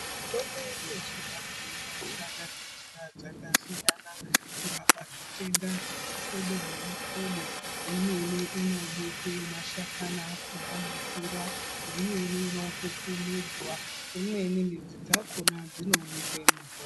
Mitombo yedu yechivantu, inoshanda nenzira dzakasiyana kurapa zvitenda zvemihlobo nemihlobo, imweni inobikwe mashakana akona mumvura, imweni inopupumidzwa, imweni midzi dzakona dzinonyikwe mumvura.